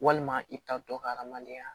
Walima i ta tɔ ka hadamadenya